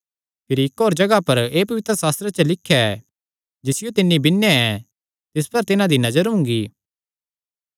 भिरी इक्क होर जगाह पर एह़ पवित्रशास्त्रे च लिख्या ऐ जिसियो तिन्हां बिन्नेया ऐ तिस पर तिन्हां दी नजर हुंगी